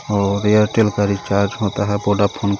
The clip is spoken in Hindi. और एयरटेल का रिचार्ज होता है वोडाफोन का.